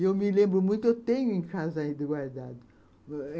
E eu me lembro muito, tenho em casa ainda guardado.